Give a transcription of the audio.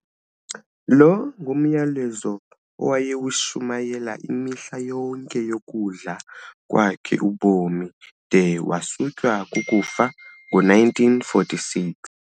Lo ngumyalezo awayewushumayela imihla yonke yokudla kwakhe ubomi, de wasutywa kukufa ngo-1946.